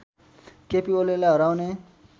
केपी ओलीलाई हराउने